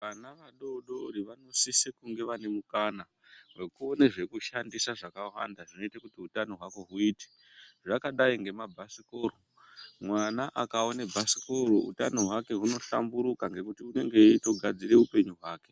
Vana vadodori vanosise kunga vane mukana wekuona zvekushandisa zvakwanda zvoita kuti utano hwavo hwuite zvakadai ngemabhasikoro mwana akaona bhasikoro utano hwake hwuno hlamburuka ngekuti unenge eitogadzire upenyu hwake.